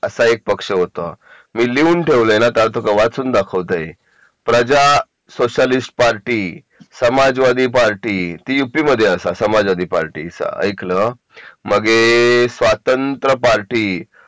असा एक पक्ष होतो मी लिहून ठेवले ना ग मग तू का वाचून दाखवतय Praja Socialist Party Samajwadi Party ती युपी मध्ये असा समाजवादी पार्टी ऐकलो मग ए स्वातंत्र पार्टी